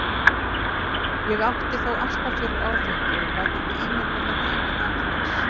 Ég átti þó alltaf fyrir áfengi og gat ekki ímyndað mér lífið án þess.